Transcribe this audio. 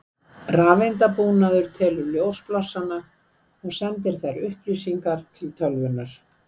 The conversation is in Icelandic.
Rafeindabúnaður telur ljósblossana og sendir þær upplýsingar til tölvunnar.